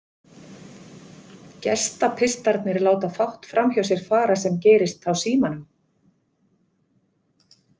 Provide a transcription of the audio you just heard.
Gestapistarnir láta fátt framhjá sér fara sem gerist á Símanum